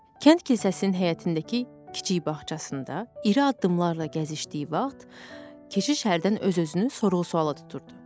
Kənd kilsəsinin həyətindəki kiçik bağçasında iri addımlarla gəzişdiyi vaxt, keşiş hərdən öz-özünü sorğu-sualla tuturdu.